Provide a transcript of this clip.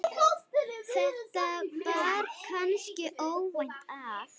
þetta bar kannski óvænt að.